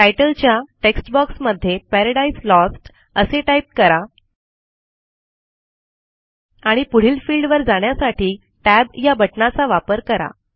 तितले च्या text box मध्ये Paradise Lostअसे टाईप करा आणि पुढील fieldवर जाण्यासाठी tab या बटणाचा वापर करा